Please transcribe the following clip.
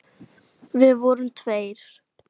Við vorum tveir.